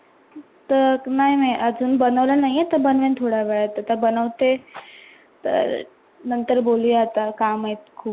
नाही नाही अजुन बनवले नाही आहे. बनविल थोड्या वेळात आता बनवते. तर नंतर बोलुया काम आहेत ख़ुप.